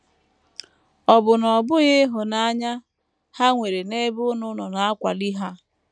Ọ̀ bụ na ọ bụghị ịhụnanya ha nwere n’ebe unu nọ na - akwali ha?